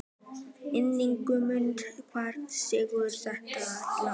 Ingimunda, hver syngur þetta lag?